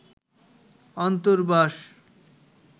অন্তর্বাস